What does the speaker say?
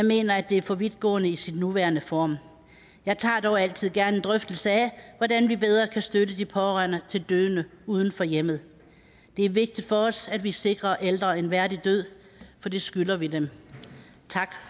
mener at det er for vidtgående i sin nuværende form jeg tager dog altid gerne en drøftelse af hvordan vi bedre kan støtte de pårørende til døende uden for hjemmet det er vigtigt for os at vi sikrer ældre en værdig død for det skylder vi dem tak